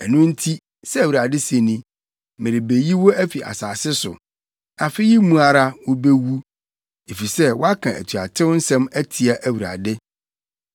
Ɛno nti, sɛ Awurade se ni: ‘Merebeyi wo afi asase so. Afe yi mu ara wubewu, efisɛ woaka atuatew nsɛm atia Awurade.’ ”